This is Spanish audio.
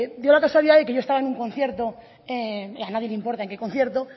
dio la casualidad de que yo estaba en un concierto a nadie le importa en qué concierto